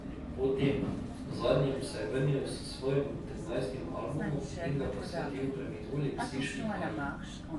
Po tem, zadnjem se je vrnil s svojim trinajstim albumom in ga posvetil preminuli psički Aji.